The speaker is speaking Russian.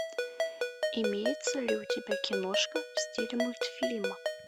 имеется ли у тебя киношка в стиле мультфильма